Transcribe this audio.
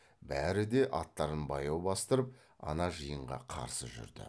бәрі де аттарын баяу бастырып ана жиынға қарсы жүрді